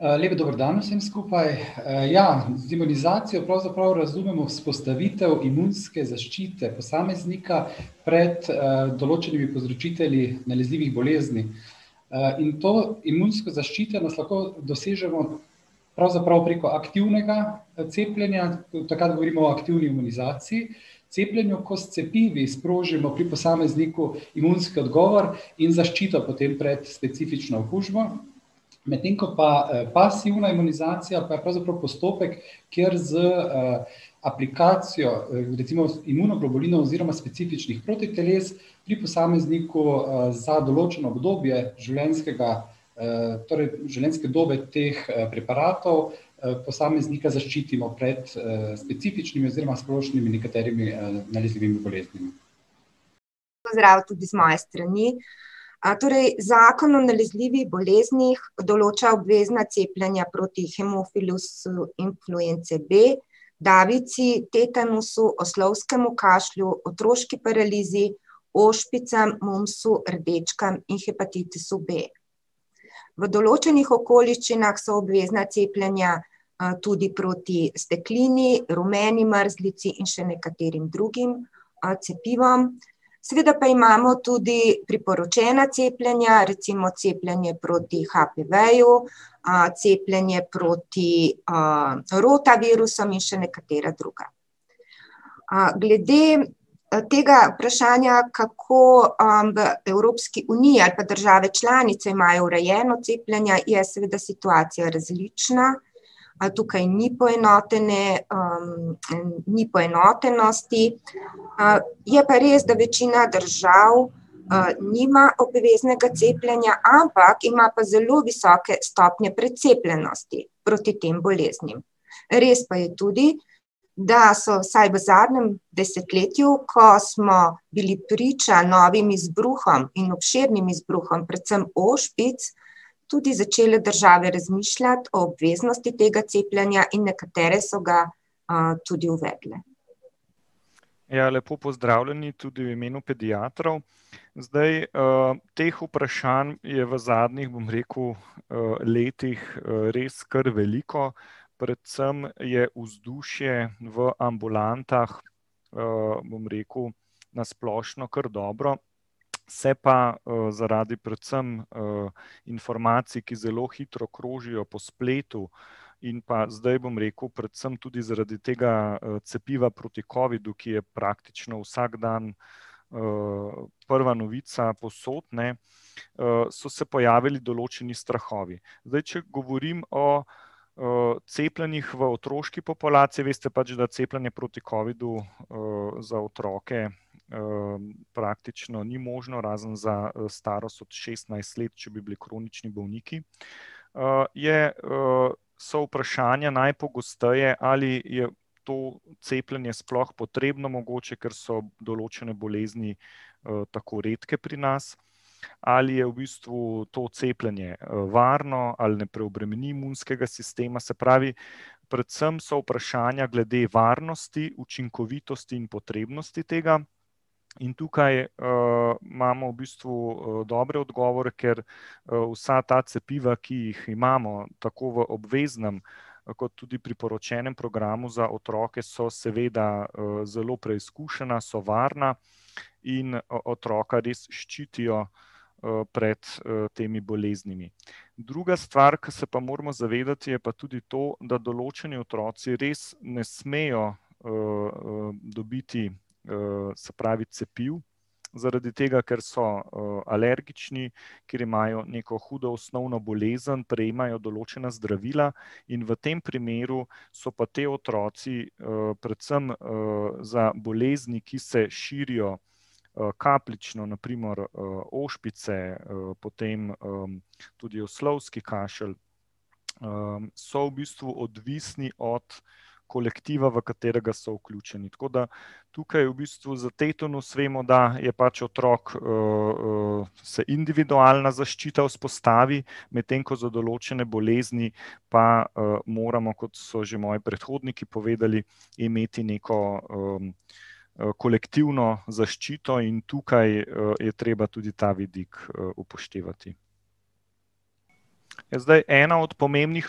lep dober dan vsem skupaj. ja, z imunizacijo pravzaprav razumemo vzpostavitev imunske zaščite posameznika pred, določenimi povzročitelji nalezljivih bolezni. in to imunsko zaščitenost lahko dosežemo pravzaprav preko aktivnega cepljenja, takrat govorimo o aktivni imunizaciji, cepljenju, ko s cepivi sprožimo pri posamezniku imunski odgovor in zaščito potem pred specifično okužbo. Medtem ko pa pasivna imunizacija pa je pravzaprav postopek, kjer z, aplikacijo, recimo imunoglobulinov oziroma specifičnih protiteles pri posamezniku, za določeno obdobje življenjskega, torej življenjske dobe teh, preparatov, posameznika zaščitimo pred, specifičnimi oziroma splošnimi nekaterimi, nalezljivimi boleznimi. Pozdrav tudi z moje strani. torej zakon o nalezljivih boleznih določa obvezna cepljenja proti hemofilusu influence B, davici, tetanusu, oslovskemu kašlju, otroški paralizi, ošpicam, mumpsu, rdečkam in hepatitisu B. V določenih okoliščinah so obvezna cepljenja, tudi proti steklini, rumeni mrzlici in še nekaterim drugim, cepivom. Seveda pa imamo tudi priporočena cepljenja, recimo cepljenje proti HPV-ju, cepljenje proti, rotavirusom in še nekatera druga. glede tega vprašanja, kako, v Evropski uniji ali pa države članice imajo urejeno cepljenje, je seveda situacija različna. Tukaj ni poenotene, ni poenotenosti. je pa res, da večina držav, nima obveznega cepljenja, ampak ima pa zelo visoke stopnje precepljenosti proti tem boleznim. Res pa je tudi, da so vsaj v zadnjem desetletju, ko smo bili priča novim izbruhom in obširnim izbruhom predvsem ošpic, tudi začele države razmišljati o obveznosti tega cepljenja in nekatere so ga, tudi uvedle. Ja, lepo pozdravljeni tudi v imenu pediatrov. Zdaj, teh vprašanj je v zadnjih, bom rekel, letih, res kar veliko. Predvsem je vzdušje v ambulantah, bom rekel, na splošno kar dobro. Se pa, zaradi predvsem, informacij, ki zelo hitro krožijo po spletu, in pa zdaj bom rekel predvsem tudi zaradi tega, cepiva proti covidu, ki je praktično vsak dan, prva novica povsod, ne, so se pojavili določni strahovi. Zdaj, če govorim o, cepljenjih v otroški populaciji, veste pač, da cepljenje proti covidu, za otroke, praktično ni možno, razen za, starost od šestnajst let, če bi bili kronični bolniki, je, so vprašanja najpogosteje, ali je to cepljenje sploh potrebno, mogoče, ker so določene bolezni, tako redke pri nas. Ali je v bistvu to cepljenje varno ali ne preobremeni imunskega sistema. Se pravi, predvsem so vprašanja glede varnosti, učinkovitosti in potrebnosti tega. In tukaj, imamo v bistvu, dobre odgovore, ker, vsa ta cepiva, ki jih imamo, tako v obveznem kot tudi priporočenem programu za otroke, so seveda, zelo preizkušena, so varna in otroka res ščitijo, pred, temi boleznimi. Druga stvar, ke se pa moramo zavedati, je pa tudi to, da določeni otroci res ne smejo, dobiti, se pravi, cepivo zaradi tega, ker so, alergični, ker imajo neko hudo osnovno bolezen, prejemajo določena zdravila. In v tem primeru so pa ti otroci, predvsem, za bolezni, ki se širijo, kapljično, na primer, ošpice, potem, tudi oslovski kašelj, so v bistvu odvisni od kolektiva, v katerega so vključeni. Tako da tukaj v bistvu za tetanus vemo, da je pol otrok, se individualna zaščita vzpostavi, medtem ko za določene bolezni pa, moramo, kot so že moji predhodniki povedali, imeti neko kolektivno zaščito. In tukaj, je treba tudi ta vidik, upoštevati. Ja, zdaj, ena od pomembnih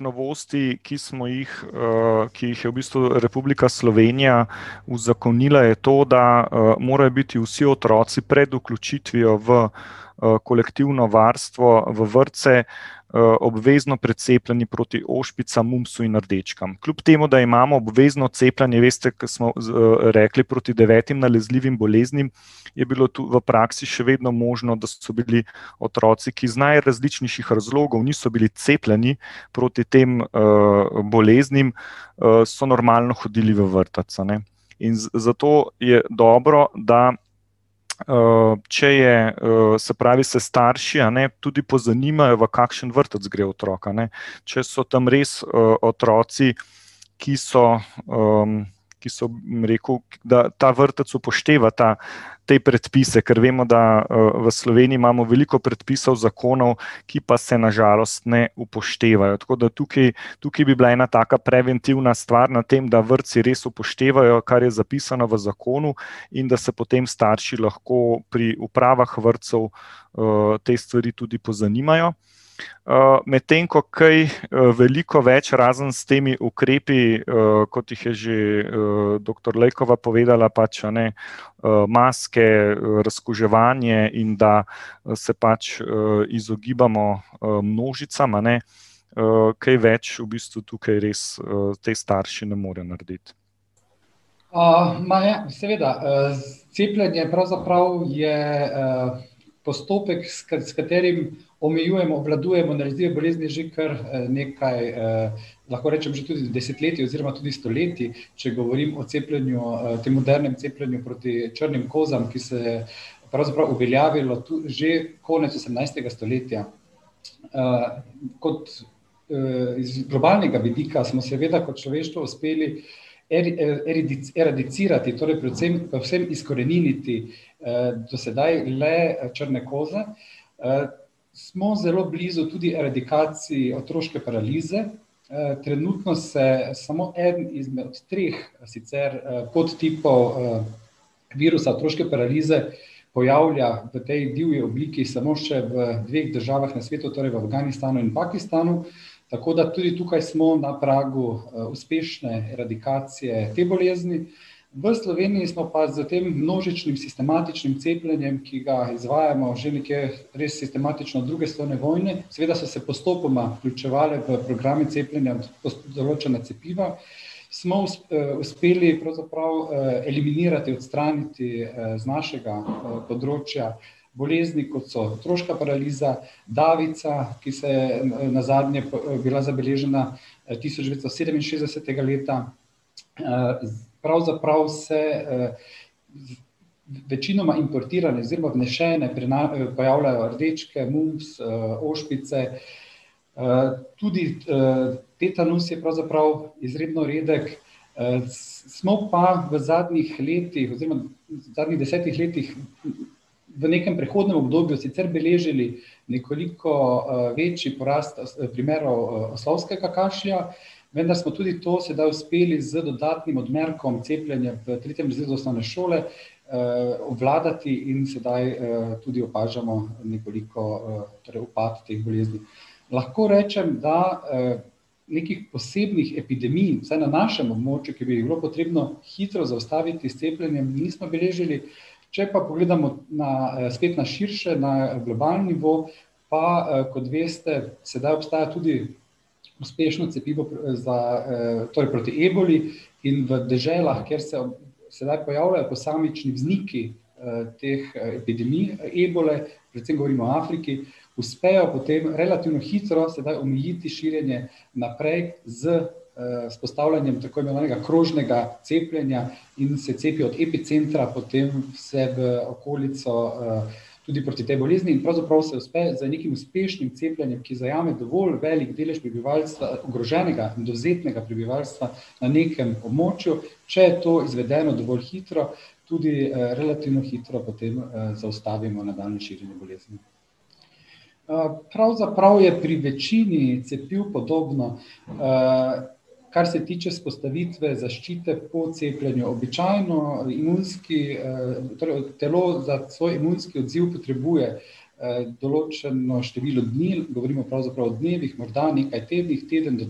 novosti, ki smo jih, ki jih je v bistvu Republika Slovenija uzakonila, je to, da morajo biti vsi otroci pred vključitvijo v, kolektivno varstvo v vrtce obvezno precepljeni proti ošpicam, mumpsu in rdečkam. Kljub temu da imamo obvezno cepljenje, veste, ko smo, rekli proti devetim nalezljivim boleznim, je bilo v praksi še vedno možno, da so bili otroci, ki iz najrazličnejših razlogov niso bili cepljeni proti tem, boleznim, so normalno hodili v vrtec, a ne. In zato je dobro, da, če je, se pravi, se starši, a ne, tudi pozanimajo, v kakšen vrtec gre otrok, a ne, če so tam res, otroci, ki so, ki so, bom rekel, da ta vrtec upošteva ta, te predpise. Kar vemo, da, v Sloveniji imamo veliko predpisov, zakonov, ki pa se na žalost ne upoštevajo, tako da tukaj, tukaj bi bila ena taka preventivna stvar na tem, da vrtci res upoštevajo, kar je zapisano v zakonu in da se potem starši lahko pri upravah vrtcev, te stvari tudi pozanimajo. medtem ko kaj veliko več, razen s temi ukrepi, kot jih je že, doktor Lejkova povedala, pač a ne, maske, razkuževanje in da se pač, izogibamo, množicam, a ne. kaj več v bistvu tukaj res, ti starši ne morejo narediti. O seveda. cepljenje pravzaprav je postopek, s s katerim omejujemo, obvladujemo nalezljive bolezni že kar nekaj, lahko rečem, že tudi desetletij oziroma tudi stoletij. Če govorim o cepljenju, tem modernem cepljenju proti črnim kozam, ki se je pravzaprav uveljavilo že konec osemnajstega stoletja. kot, iz globalnega vidika smo seveda kot človeštvo uspeli eradicirati, torej predvsem povsem izkoreniniti, do sedaj le črne koze. smo zelo blizu tudi eradikaciji otroške paralize. trenutno se samo eden izmed treh sicer podtipov, virusa otroške paralize pojavlja v tej divji obliki samo še v dveh državah na svetu, torej v Afganistanu in Pakistanu. Tako da tudi tukaj smo na pragu uspešne eradikacije te bolezni. V Sloveniji smo pa s tem množičnim sistematičnim cepljenjem, ki ga izvajamo že nekje res sistematično od druge svetovne vojne, seveda so se postopoma vključevale v programe cepljenja določena cepiva, smo uspeli pravzaprav, eliminirati, odstraniti, z našega področja bolezni, kot so otroška paraliza, davica, ki se je nazadnje bila zabeležena tisoč devetsto sedeminšestdesetega leta, pravzaprav se, večinoma importirane oziroma vnesene pojavljajo rdečke, mumps, ošpice. tudi, tetanus je pravzaprav izredno redek. smo pa v zadnjih letih oziroma v zadnjih desetih letih v nekem prehodnem obdobju sicer beležili nekoliko, večji porast primerov oslovskega kašlja, vendar smo tudi to sedaj uspeli z dodatnim odmerkom cepljenja v tretjem razredu osnovne šole, obvladati in sedaj, tudi opažamo nekoliko, torej upad te bolezni. Lahko rečem, da, nekih posebnih epidemij, vsaj na našem območju, ki bi jih bilo potrebno hitro zaustaviti s cepljenjem, nismo beležili, če pa pogledamo na, spet na širše, na globalni nivo, pa, kot veste, sedaj obstaja tudi uspešno cepivo za, torej proti eboli, in v deželah, kjer se sedaj pojavljajo posamični vzniki, teh epidemij ebole, predvsem govorim o Afriki, uspejo potem relativno hitro sedaj omejiti širjenje naprej z, vzpostavljanjem tako imenovanega krožnega cepljenja in se cepijo od epicentra potem vse v okolico, tudi proti tej bolezni in pravzaprav se uspe z nekim uspešnim cepljenjem, ki zajame dovolj velik delež prebivalstva, ogroženega, dovzetnega prebivalstva, na nekem območju, če je to izvedeno dovolj hitro, tudi, relativno hitro potem, zaustavimo nadaljnje širjenje bolezni. pravzaprav je pri večini cepiv podobno, kar se tiče vzpostavitve zaščite po cepljenju. Običajno imunski, torej, telo za svoj imunski odziv potrebuje, določeno število dni, govorimo pravzaprav o dnevih, morda nekaj tednih, teden do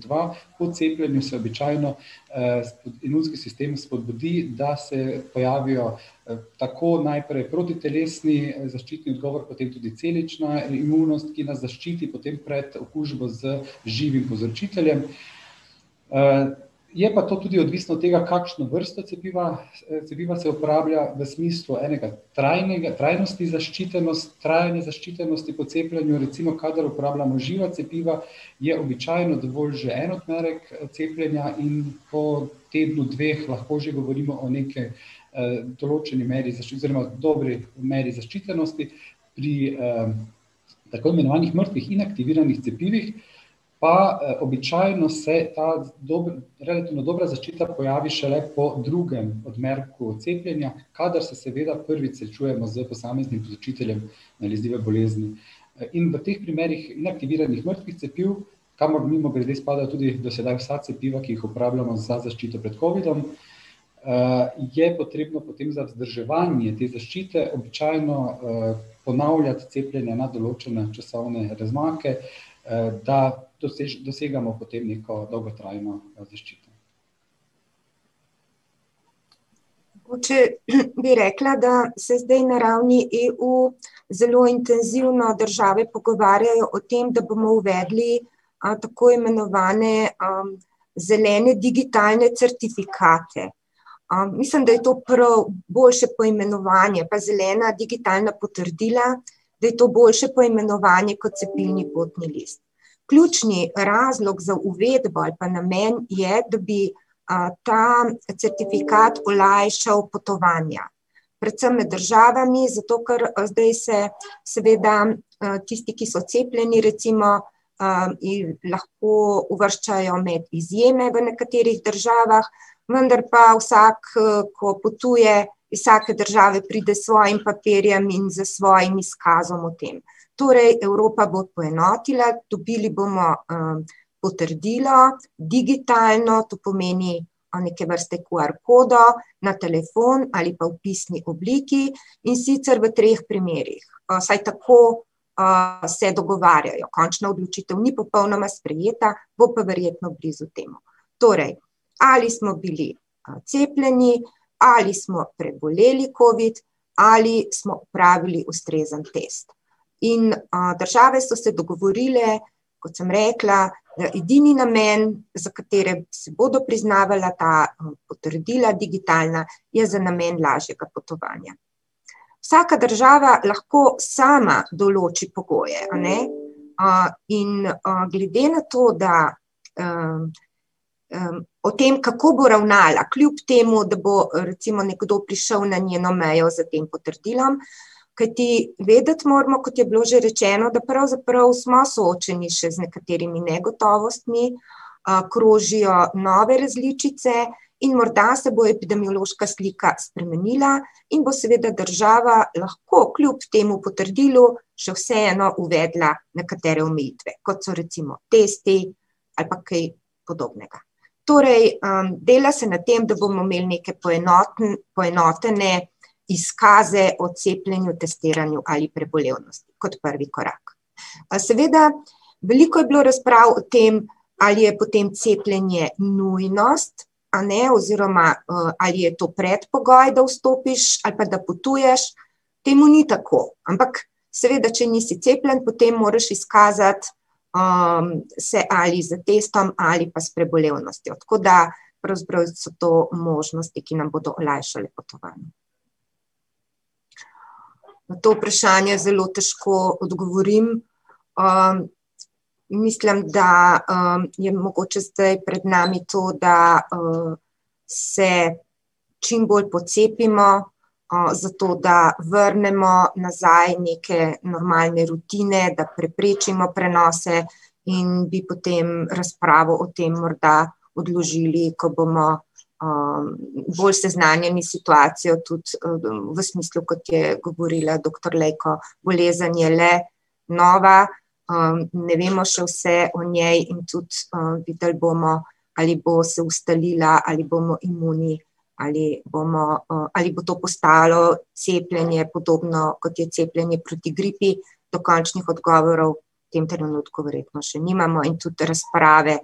dva. Po cepljenju se običajno, imunski sistem spodbudi, da se pojavijo, tako najprej protitelesni zaščitni odgovor, potem pa tudi celična imunost, ki nas zaščiti potem pred okužbo z živim povzročiteljem. je pa to tudi odvisno od tega, kakšno vrsto cepiva, cepiva se uporablja, v smislu enega trajnosti trajanje zaščitenosti po cepljenju. Recimo kadar uporabljamo živa cepiva, je običajno dovolj že en odmerek cepljenja in pol tednu, dveh lahko že govorimo o neki, določeni meri oziroma dobri meri zaščitenosti, pri, tako imenovanih mrtvih, inaktiviranih cepivih pa običajno se ta relativno dobra zaščita pojavi šele po drugem odmerku cepljenja, kadar se seveda prvič srečujemo s posameznim povzročiteljem nalezljive bolezni. In v teh primerih neaktiviranih mrtvih cepiv, kamor mimogrede spadajo tudi do sedaj vsa cepiva, ki jih uporabljamo za zaščito pred covidom, je potrebno potem za vzdrževanje te zaščite običajno, ponavljati cepljenja na določene časovne razmake, da dosegamo potem neko dolgotrajno, zaščito. Mogoče bi rekla, da se zdaj na ravni EU zelo intenzivno države pogovarjajo o tem, da bomo uvedli, tako imenovane, zelene digitalne certifikate. mislim, da je to prav boljše poimenovanje, pa zelena digitalna potrdila, da je to boljše poimenovanje kot cepilni potni list. Ključni razlog za uvedbo ali pa namen je, da bi, ta certifikat olajšal potovanja. Predvsem med državami, zato ker, zdaj se seveda, tisti, ki so cepljeni, recimo, jih lahko uvrščajo med izjeme v nekaterih državah, vendar pa vsak, ko potuje, iz vsake države pride s svojim papirjem in s svojim izkazom o tem. Torej Evropa bo poenotila, dobili bomo, potrdilo digitalno, to pomeni neke vrste QR kodo na telefon ali pa v pisni obliki, in sicer v treh primerih. Vsaj tako, se dogovarjajo. Končna odločitev ni popolnoma sprejeta, bo pa verjetno blizu temu. Torej ali smo bili cepljeni ali smo preboleli covid ali smo opravili ustrezen test. In, države so se dogovorile, kot sem rekla, edini namen, za katerega se bodo priznavala ta potrdila digitalna, je za namen lažjega potovanja. Vsaka država lahko sama določi pogoje, a ne. in, glede na to, da, o tem, kako bo ravnala, kljub temu da bo recimo nekdo prišel na njeno mejo s tem potrdilom. Kajti vedeti moramo, kot je bilo že rečeno, da pravzaprav smo soočeni še z nekaterimi negotovostmi, krožijo nove različice in morda se bo epidemiološka slika spremenila in bo seveda država lahko kljub temu potrdilu še vseeno uvedla nekatere omejitve, kot so recimo testi ali pa kaj podobnega. Torej, dela se n tem, da bomo imeli neke poenotene izkaze o cepljenju, testiranju ali prebolevnosti. Kot prvi korak. seveda, veliko je bilo razprav o tem, ali je potem cepljenje nujnost, a ne, oziroma, ali je to predpogoj, da vstopiš ali pa da potuješ. Temu ni tako. Ampak seveda, če nisi cepljen, potem moraš izkazati, se ali s testom ali pa s prebolevnostjo. Tako da pravzaprav so to možnosti, ki nam bodo olajšale potovanja. Na to vprašanje zelo težko odgovorim. mislim, da, je mogoče zdaj pred nami to, da, se čim bolj pocepimo, zato da vrnemo nazaj neke normalne rutine, da preprečimo prenose in bi potem razpravo o tem morda odložili, ko bomo, bolj seznanjeni s situacijo tudi, v smislu, kot je govorila doktor Lejko. Bolezen je le nova, ne vemo še vse o njej in tudi, videli bomo, ali bo se ustalila, ali bomo imuni, ali bomo, ali bo to postalo cepljenje podobno, kot je cepljenje proti gripi. Dokončnih odgovorov v tem trenutku verjetno še nimamo in tudi razprave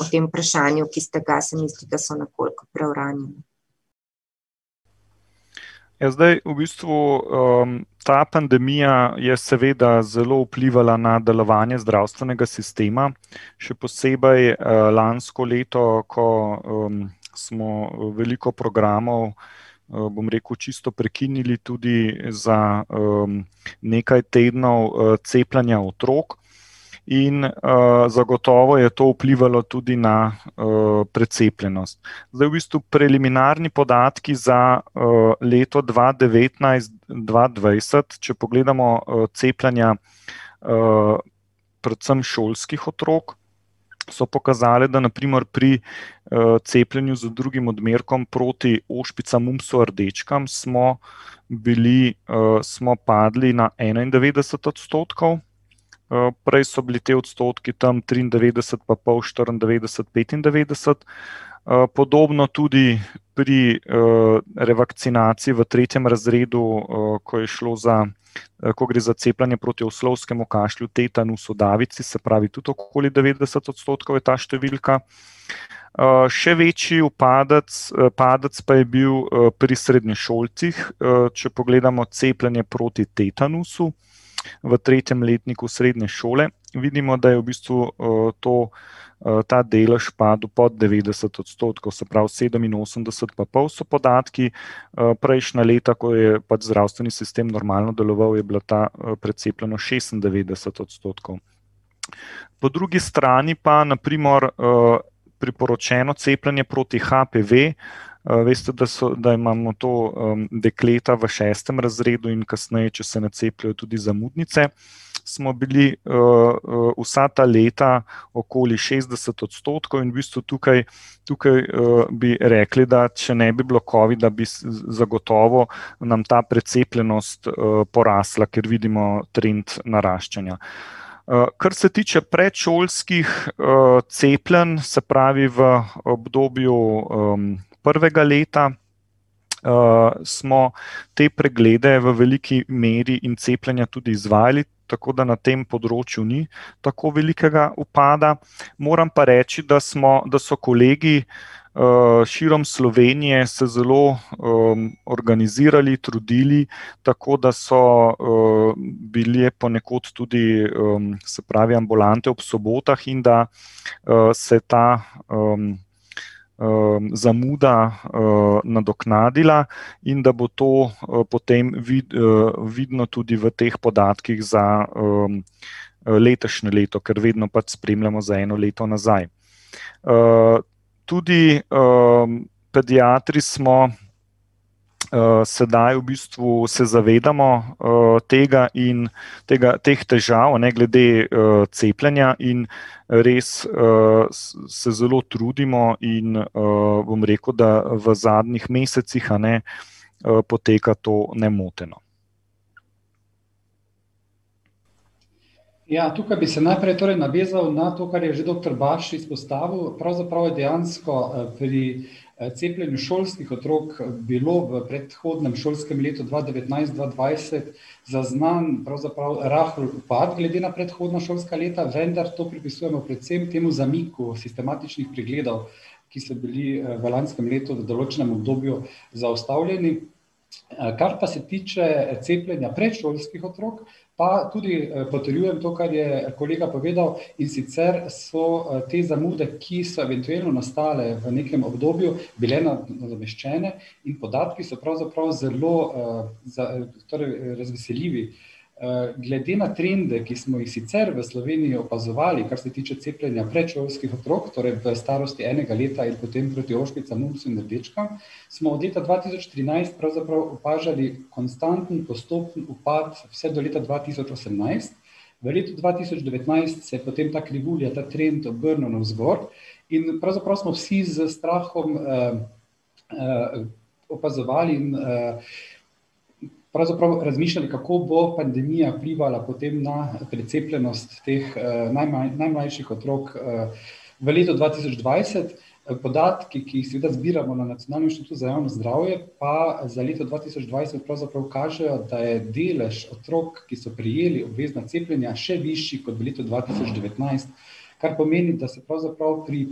o tem vprašanju, ki ste ga, se mi zdi, da so nekoliko preuranjene. Ja, zdaj v bistvu, ta pandemija je seveda zelo vplivala na delovanje zdravstvenega sistema, še posebej, lansko leto, ko, smo veliko programov, bom rekel, čisto prekinili tudi za, nekaj tednov cepljenja otrok. In, zagotovo je to vplivalo tudi na, precepljenost. Zdaj v bistvu preliminarni podatki za, leto dva devetnajst, dva dvajset, če pogledamo, cepljenja, predvsem šolskih otrok, so pokazali, da na primer pri, cepljenju z drugim odmerkom proti ošpicam, mumpsu, rdečkam smo bili, smo padli na enaindevetdeset odstotkov. prej so bili ti odstotki tam triindevetdeset pa pol, štiriindevetdeset, petindevetdeset. podobno tudi pri, revakcinaciji v tretjem razredu, ko je šlo za, ko gre za cepljenje proti kašlju oslovskemu, tetanusu, davici, se pravi, tudi okoli devetdeset odstotkov je ta številka. še večji upadec, padec pa je bil, pri srednješolcih, če pogledamo cepljenje proti tetanusu v tretjem letniku srednje šole, vidimo, da je v bistvu, to, ta delež padel pod devetdeset odstotkov, se pravi sedeminosemdeset pa pol so podatki. prejšnja leta, ko je pač zdravstveni sistem normalno deloval, je bila ta precepljenost šestindevetdeset odstotkov. Po drugi strani pa na primer, priporočeno cepljenje proti HPV, veste, da da imamo to, dekleta v šestem razredu in kasneje, če se ne cepijo, tudi zamudnice, smo bili, vsa ta leta okoli šestdeset odstotkov in v bistvu tukaj, tukaj, bi rekli, da če ne bi bilo covida, bi zagotovo nam ta precepljenost, porasla, ker vidimo trend naraščanja. kar se tiče predšolskih, cepljenj, se pravi, v obdobju, prvega leta, smo te preglede v veliki meri in cepljenja tudi izvajali. Tako da na tem področju ni tako velikega upada. Moram pa reči, da smo, da so kolegi, širom Slovenije se zelo, organizirali, trudili, tako da so, bile ponekod tudi, se pravi, ambulante ob sobotah in da, se ta, zamuda, nadoknadila in da bo to, potem vidno tudi v teh podatkih za, letošnje leto. Ker vedno pač spremljamo za eno leto nazaj. tudi, pediatri smo, sedaj v bistvu se zavedamo tega in teh težav, a ne, glede, cepljenja, in, res, se zelo trudimo in, bom rekel, da v zadnjih mesecih, a ne, poteka to nemoteno. Ja, tukaj bi se najprej torej navezal na to, kar je že doktor Baš izpostavil, pravzaprav je dejansko, pri, cepljenju šolskih otrok bilo v predhodnem šolskem letu dva devetnajst-dva dvajset zaznan pravzaprav rahel upad glede na predhodna šolska leta, vendar to pripisujemo predvsem temu zamiku sistematičnih pregledov, ki so bili, v lanskem letu v določenem obdobju zaustavljeni. kar pa se tiče cepljenja predšolskih otrok, pa tudi potrjujem to, kar je kolega povedal, in sicer so te zamude, ki so eventuelno nastale v nekem obdobju, bile nadomeščene in podatki so pravzaprav zelo, torej razveseljivi. glede na trende, ki smo jih sicer v Sloveniji opazovali, kar se tiče cepljenja predšolskih otrok, torej v starosti enega leta in potem proti ošpicam, mumpsu in rdečkam, smo od leta dva tisoč trinajst pravzaprav opažali konstanten postopni upad vse do leta dva tisoč osemnajst. V letu dva tisoč devetnajst se je potem ta krivulja, trend obrnil navzgor in pravzaprav smo vsi s strahom, opazovali, in pravzaprav razmišljali, kako bo pandemija vplivala potem na precepljenost teh, najmlajših otrok, V letu dva tisoč dvajset podatki, ki jih sicer zbiramo na Nacionalnem inštitutu za javno zdravje, pa za leto dva tisoč dvajset pravzaprav kažejo, da je delež otrok, ki so prejeli obvezna cepljenja, še višji kot v letu dva tisoč devetnajst, kar pomeni, da se pravzaprav pri